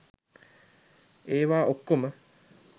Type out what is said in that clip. ඒවා ඔක්කොම